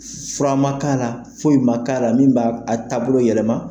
Fura ma k'a la foyi ma k'a la min b'a taabolo yɛlɛma.